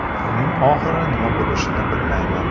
Buning oxiri nima bo‘lishini bilmayman.